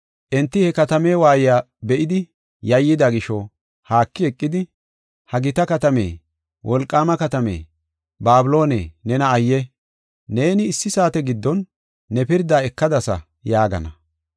Enti he katame waayiya be7idi yayyida gisho, haaki eqidi, “ ‘Ha gita katame! Wolqaama katame! Babiloone, nena ayye! Neeni issi saate giddon ne pirda ekadasa’ yaagana.